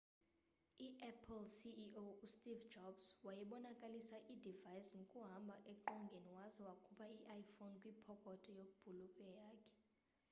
i-apple ceo u steve jobs wayebonakalisa i-device ngokuhamba eqongeni waze wakhupha i-iphone kwipokotho yebhulukhwe yakhe